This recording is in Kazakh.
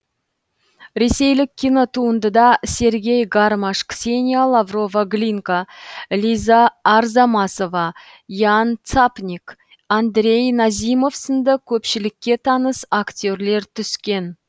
ресейлік кинотуындыда сергей гармаш ксения лаврова глинка лиза арзамасова ян цапник андрей назимов сынды көпшілікке таныс актерлер түскен